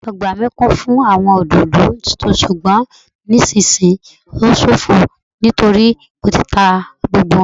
Ọgbà mi kún fún àwọn òdòdó ṣùgbọn nisisiyi o ṣofo nítorí Mo ti ta gbogbo wọn